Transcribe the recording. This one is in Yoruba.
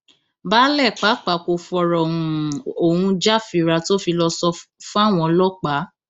baálé pàápàá kò fọrọ um ohun jàfírà tó fi lọọ sọ um fáwọn ọlọpàá